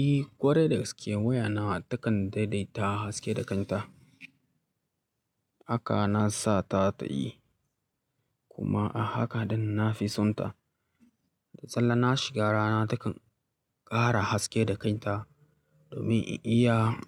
Eh, ƙwarai da gaske waya nawa takan daidaita haske da kanta. Haka na sa ta ta yi kuma a haka dai na fi sonta. Da sallah na shiga rana takan ƙara haske da kanta domin in iya